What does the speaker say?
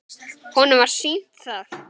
Honum var sýnt það.